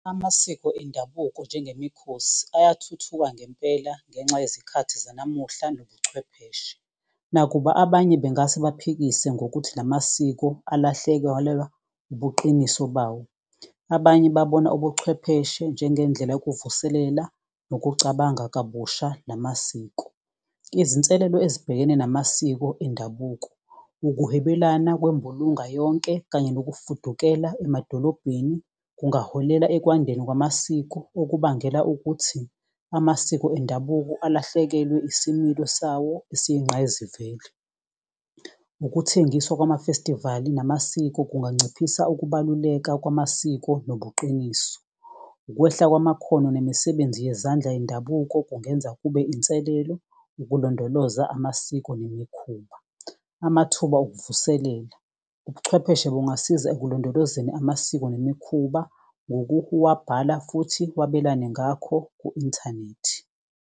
Amasiko endabuko njengemikhosi uyathuthuka ngempela ngenxa yezikhathi zanamuhla nobuchwepheshe. Nakuba abanye bengase baphikisane ngokuthi la masiko ubuqiniso bawo. Abanye babona ubuchwepheshe njengendlela yokuvuselela, nokucabanga kabusha, namasiko. Izinselelo ezibhekene namasiko endabuko, ukuhwebelana kwembulunga yonke. Kanye nokufukela emadolobheni kungaholela ekwandeni kwamasiko okubangela ukuthi. Amasiko endabuko alahlekelwe isimilo sawo eseyingqayizivele. Ukuthengiswa kwama-festival-i namasiko, kunganciphisa ukubaluleka kwamasiko nobuqiniso. Ukwehla kwamakhono nemisebenzi yezandla yendabuko, kungenza kube inselelo ukulondoloza amasiko nemikhuba. Amathuba okuvuselela, ubuchwepheshe bungasiza ekulondolozeni amasiko nemikhuba. Futhi wabelane ngakho ku-inthanethi.